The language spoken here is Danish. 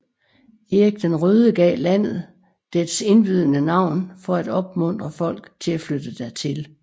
Erik den Røde gav landet dets indbydende navn for at opmuntre folk til at flytte dertil